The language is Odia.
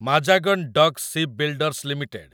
Mazagon dock shipbuilders limited